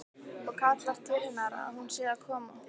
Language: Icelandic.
Og kallar til hennar að hún sé að koma.